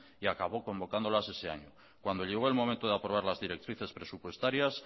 y acabó convocándolas ese año cuando llegó el momento de aprobar las directrices presupuestarias